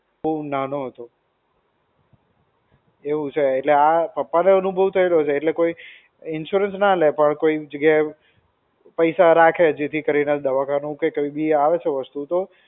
બહુ નાનો હતો. એવું છે એટલે આ પપ્પા ને અનુભવ થયેલો છે, એટલે કોઈ insurance ના લેય પણ કોઈ ની જગ્યાએ પૈસા રાખે જેથી દવાખાનું કે કંઈ બી આવે છે વસ્તુ તો.